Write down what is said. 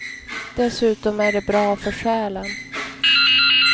Dessutom är det bra för själen.